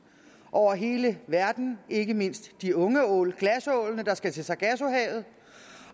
over hele verden ikke mindst de unge ål glasålene der skal til sargassohavet